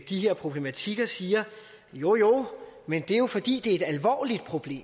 de her problematikker siger jo jo men det er jo fordi det er et alvorligt problem